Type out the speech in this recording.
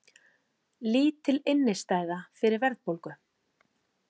Lítil innistæða fyrir verðbólgu